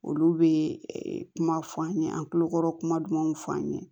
Olu bɛ kuma fɔ an ye an tulokɔrɔ kuma dumanw fɔ an ye